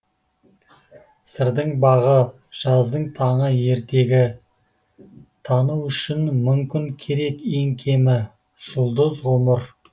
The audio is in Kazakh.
сырдың бағы жаздың таңы ертегі тану үшін мың күн керек ең кемі жұлдыз ғұмыр